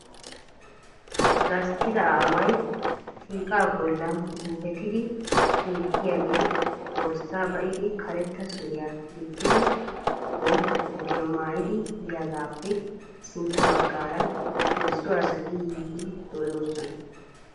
Gasttida aaway shiiqa bollan guufetiide hemettiyaage borssa ba'idi karetta suriyaa gixxidi, bootta koottiyaa maayyidi biyaagappe sintta bagaara heezzu asati yiidi de'oosona.